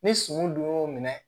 Ni suman dun y'o minɛ